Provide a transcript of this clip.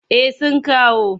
Eh sun kawo.